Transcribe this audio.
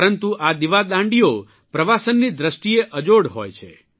પરંતુ આ દિવાદાંડીઓ પ્રવાસનની દ્રષ્ટિએ અજોડ હોય છે